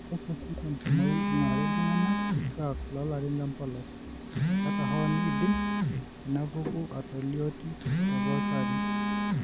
Kesesh tenkumoi eing'urari iltung'anak kituak loolarin lempolos, ata hoo neidim inaapuku aatalioti tepooki arin.